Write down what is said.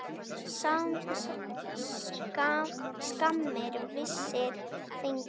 Skammir vissir fengu.